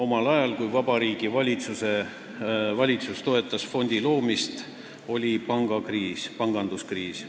Omal ajal, kui Vabariigi Valitsus toetas fondi loomist, oli panganduskriis.